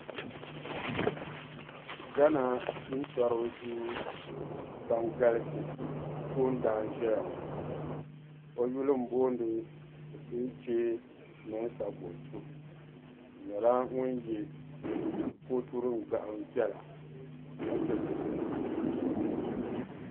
Ghana jintɔriba duu ban galisi toondana n-ʒia ŋɔ. O yuli m-boondi Osei kyee Munsah Bonsu. O nyɛla ŋun ye kootu din gahim viɛla ka diri fiila.